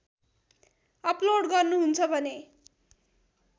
upload गर्नुहुन्छ भने